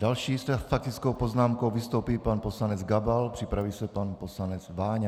Další s faktickou poznámkou vystoupí pan poslanec Gabal, připraví se pan poslanec Váňa.